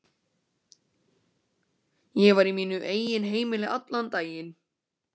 Ég var í mínum eigin heimi allan daginn.